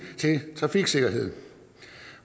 til trafiksikkerheden